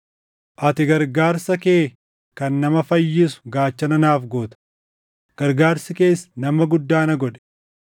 Ati gargaarsa kee kan nama fayyisu gaachana naaf goota; gargaarsi kees nama guddaa na godhe.